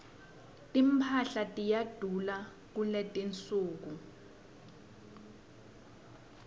timphahla tiyadula kuletinsuku